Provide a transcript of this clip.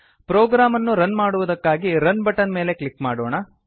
program ಅನ್ನು run ಮಾಡುವುದಕ್ಕಾಗಿ run button ಮೇಲೆ ಕ್ಲಿಕ್ ಮಾಡೋಣ